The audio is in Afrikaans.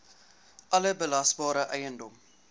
alle belasbare eiendom